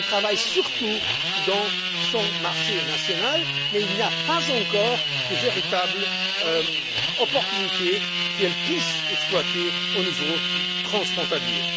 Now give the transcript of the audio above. Elles travaillent surtout dans leurs marchés nationaux mais il n'y a pas encore de véritables opportunités qu'elles puissent exploiter au niveau transfrontalier.